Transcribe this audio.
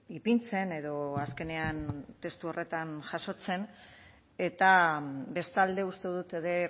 ipintzen edo azkenean testu horretan jasotzen eta bestalde uste dut ere